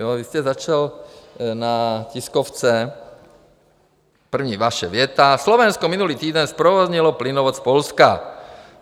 Vy jste začal na tiskovce, první vaše věta: Slovensko minulý týden zprovoznilo plynovod z Polska,